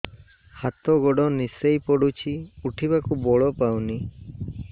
ହାତ ଗୋଡ ନିସେଇ ପଡୁଛି ଉଠିବାକୁ ବଳ ପାଉନି